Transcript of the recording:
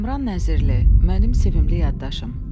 Kamran Nəzirli, mənim sevimli yaddaşım.